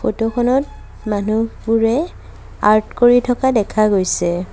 Photo খনত মানুহবোৰে art কৰি থকা দেখা গৈছে।